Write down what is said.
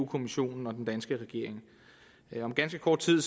kommissionen og den danske regering om ganske kort tid